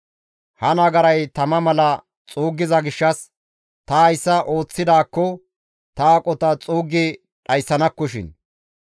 Ha nagaray tama mala xuuggiza gishshas ta hayssa ooththidaakko ta aqota xuuggi dhayssanakkoshin.